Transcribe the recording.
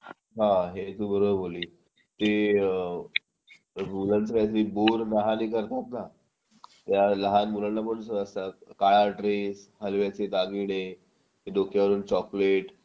हा आहे तू बरोबर बोलली ते मुलांचं काहीतरी बोर न्हाण करतात ना त्या लहान मुलांना सुद्धा काळा ड्रेस हलव्याचे दागिने डोक्यावरून चॉकलेट